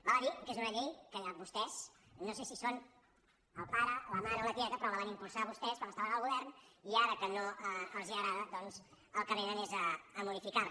val a dir que és una llei que vostès no sé si en són el pare la mare o la tieta però la van impulsar vostès quan estaven al govern i ara que no els agrada doncs al que vénen és a modificar la